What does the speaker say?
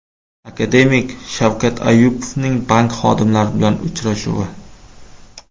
Akademik Shavkat Ayupovning bank xodimlari bilan uchrashuvi.